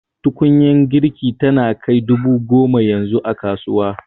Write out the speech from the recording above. Tukunyar girki tana kai dubu goma yanzu a kasuwa